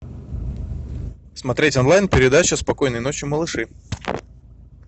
смотреть онлайн передачу спокойной ночи малыши